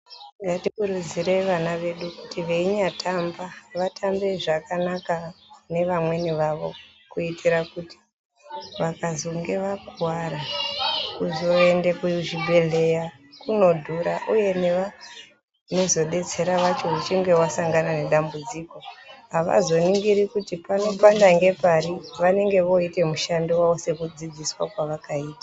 Ngatikurudzire vana vedu kuti veinyatamba, vatambe zvakanaka nevamweni vavo kuitira kuti vakazonge vakuwara kuzoende kuzvibhedhleya kunodhura, uye nevanozodetsera vacho uchinge wasangana nedambudziko avazoningiri kuti panopanda ngepari vanenge vooita mushando wavo sekudzidziswa kwevakaita.